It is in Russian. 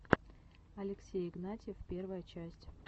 алексей игнатьев первая часть